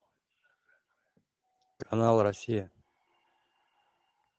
канал россия